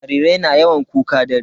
Jarirai na yawan kuka dare.